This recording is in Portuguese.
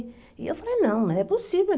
E eu falei, não, não é possível.